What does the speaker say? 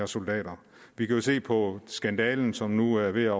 soldater vi kan jo se på skandale som nu er ved